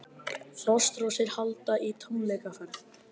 Frostrósir halda í tónleikaferð